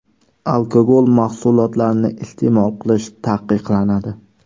Alkogol mahsulotlarini iste’mol qilish taqiqlanadi.